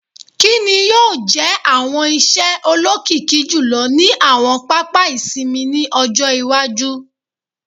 “Kini yoo jẹ awọn iṣẹ olokiki julọ ni awọn papa isinmi ni ọjọ iwaju? "